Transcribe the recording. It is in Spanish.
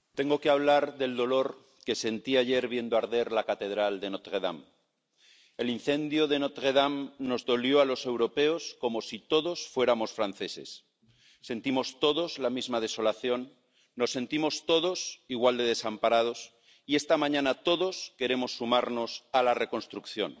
Señor presidente, tengo que hablar del dolor que sentí ayer viendo arder la catedral de Notre Dame. El incendio de Notre Dame nos dolió a los europeos como si todos fuéramos franceses sentimos todos la misma desolación, nos sentimos todos igual de desamparados y, esta mañana, todos queremos sumarnos a la reconstrucción.